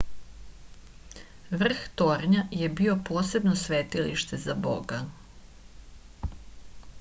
vrh tornja je bio posebno svetilište za boga